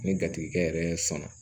Ni gatigi yɛrɛ sɔnna